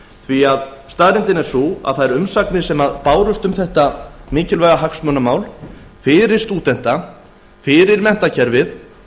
því að staðreyndin er sú að þær umsagnir sem bárust um þetta mikilvæga hagsmunamál fyrir stúdenta fyrir menntakerfið og